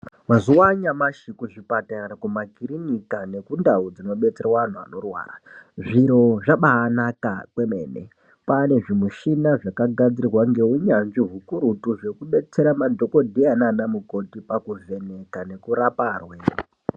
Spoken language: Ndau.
Mazuva anyamashi kuchipatara kuma kirinika nekundau dzinobetserwa anhu anorwara, zviro zvabaanaka kwemene, paane zvimishina zvakagadzirwa ngeunyanzvi ukurutu zvekubetsera madhokodheya nana mukokhoti pakuvheneka nekurapa arwere.